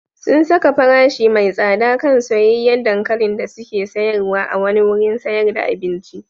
Sun saka farashi mai tsada kan soyayyen dankalin da suke sayarwa a wani wurin sayar da abinci.